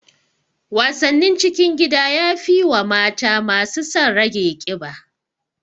Wasannin cikin gida yafi wa mata masu son rage ƙiba